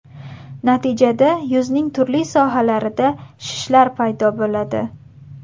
Natijada yuzning turli sohalarida shishlar paydo bo‘ladi.